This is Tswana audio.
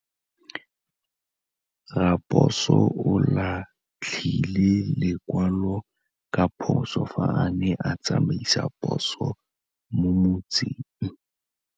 Raposo o latlhie lekwalô ka phosô fa a ne a tsamaisa poso mo motseng.